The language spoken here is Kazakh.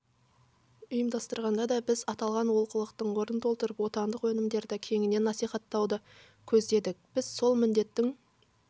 ұйымдастырғанда да біз аталған олқылықтың орнын толтырып отандық өнімдерді кеңінен насиіаттауды көздедік біз сол міндеттің